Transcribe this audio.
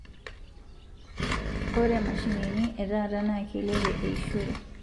Ore mashinini etata naa keilipie eishore